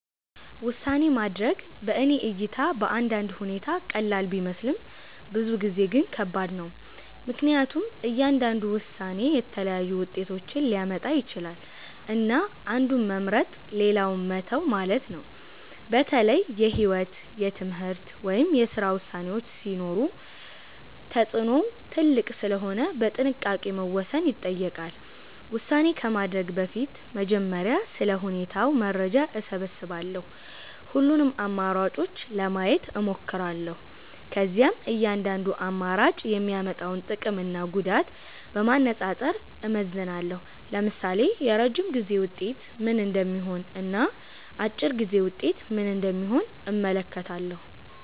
ውሳኔ ማድረግ በእኔ እይታ በአንዳንድ ሁኔታ ቀላል ቢመስልም ብዙ ጊዜ ግን ከባድ ነው። ምክንያቱም እያንዳንዱ ውሳኔ የተለያዩ ውጤቶችን ሊያመጣ ይችላል፣ እና አንዱን መምረጥ ሌላውን መተው ማለት ነው። በተለይ የህይወት፣ የትምህርት ወይም የስራ ውሳኔዎች ሲሆኑ ተጽዕኖው ትልቅ ስለሆነ በጥንቃቄ መወሰን ይጠይቃል። ውሳኔ ከማድረግ በፊት በመጀመሪያ ስለ ሁኔታው መረጃ እሰብስባለሁ። ሁሉንም አማራጮች ለማየት እሞክራለሁ። ከዚያም እያንዳንዱ አማራጭ የሚያመጣውን ጥቅምና ጉዳት በማነጻጸር እመዝናለሁ። ለምሳሌ የረጅም ጊዜ ውጤት ምን እንደሚሆን እና አጭር ጊዜ ውጤት ምን እንደሚሆን እመለከታለሁ።